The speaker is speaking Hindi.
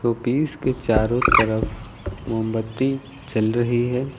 शोपीस के चारों तरफ मोमबत्ती जल रही है।